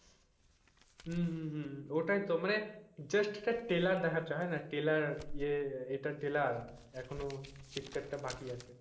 হম হম হম ওটাই তো মানে just একটা ট্রেইলার দেখাচ্ছে হয় না ট্রেইলার ইয়ে এটার ট্রেইলার এখনো picture বাকি আছে,